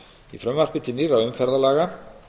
í frumvarpi til nýrra umferðarlaga